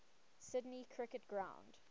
sydney cricket ground